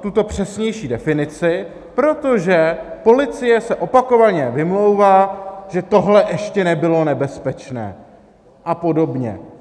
tuto přesnější definici, protože policie se opakovaně vymlouvá, že tohle ještě nebylo nebezpečné, a podobně.